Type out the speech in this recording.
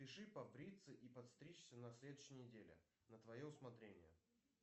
запиши побриться и подстричься на следующей неделе на твое усмотрение